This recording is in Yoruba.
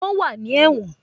Wọ́n wà ní ẹ̀wọ̀n